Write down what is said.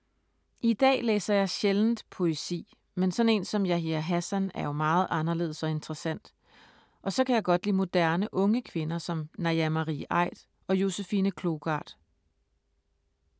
I dag læser jeg sjældent poesi, men sådan en som Yahya Hassan er jo meget anderledes og interessant. Og så kan jeg lide moderne unge kvinder som Naja Marie Aidt og Josefine Klougart.